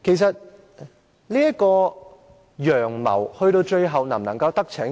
這個"陽謀"最後能否得逞呢？